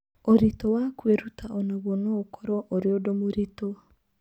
Ũritũ wa kwĩruta o naguo no ũkorũo ũrĩ ũndũ mũritũ.